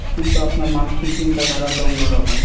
কিন্তু আপনার মানসিক চিন্তা ধারা তো অন্যরকম।